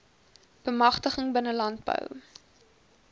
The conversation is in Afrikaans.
bemagtiging binne landbou